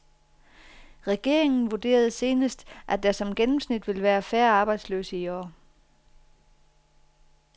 Regeringen vurderede senest, at der som gennemsnit vil være færre arbejdsløse i år.